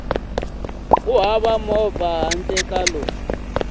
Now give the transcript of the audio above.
hava movha handle ka lowu